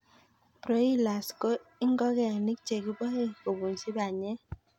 Broilers ko ingokenik chekiboe kobunji panyek.